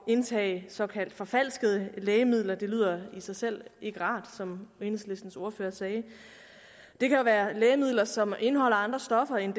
indtage såkaldt forfalskede lægemidler det lyder i sig selv ikke rart som enhedslistens ordfører sagde det kan være lægemidler som indeholder andre stoffer end